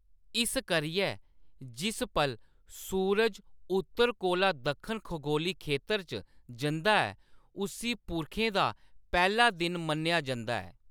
इस करियै, जिस पल सूरज उत्तर कोला दक्खन खगोली खेतर च जंदा ऐ, उस्सी पुरखें दा पैह्‌‌ला दिन मन्नेआ जंदा ऐ।